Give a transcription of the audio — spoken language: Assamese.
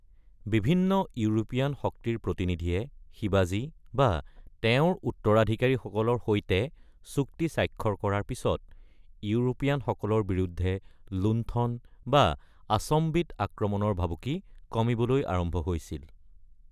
বিভিন্ন ইউৰোপীয়ান শক্তিৰ প্ৰতিনিধিয়ে শিৱাজী বা তেওঁৰ উত্তৰাধিকাৰীসকলৰ সৈতে চুক্তি স্বাক্ষৰ কৰাৰ পিছত ইউৰোপীয়ানসকলৰ বিৰুদ্ধে লুণ্ঠন বা আচম্বিত আক্ৰমণৰ ভাবুকি কমিবলৈ আৰম্ভ হৈছিল।